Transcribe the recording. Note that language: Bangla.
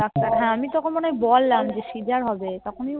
হ্যাঁ আমি তখন মনে হয় বললাম যে scissor হবে